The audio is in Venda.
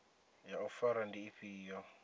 ya u fara ndi ifhio